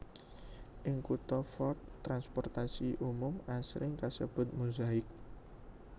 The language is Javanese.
Ing kutha Fort transportasi umum asring kasebut Mozaik